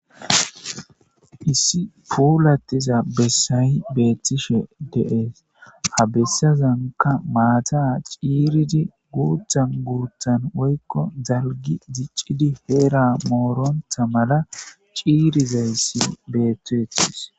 Issi puulatiza bessay bettishe de'ess ha bessazanka maata cirridi guthan guththan woykko daalgi diccidi heera mooronnatta malla ciiridayssi betetes